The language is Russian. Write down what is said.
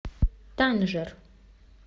танжер